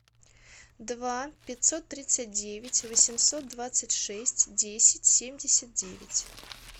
два пятьсот тридцать девять восемьсот двадцать шесть десять семьдесят девять